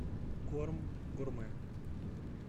корм гурме